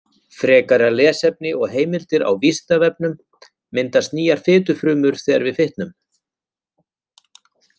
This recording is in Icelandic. Frekara lesefni og heimildir á Vísindavefnum: Myndast nýjar fitufrumur þegar við fitnum?